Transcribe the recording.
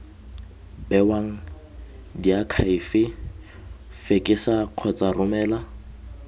bewang diakhaefe fekesa kgotsa romela